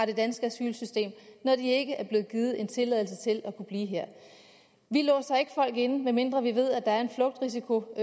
det danske asylsystem når de ikke er blevet givet en tilladelse til at kunne blive her vi låser ikke folk inde medmindre vi ved at der er en flugtrisiko og